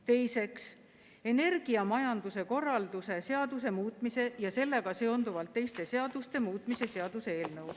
Teiseks, energiamajanduse korralduse seaduse muutmise ja sellega seonduvalt teiste seaduste muutmise seaduse eelnõu.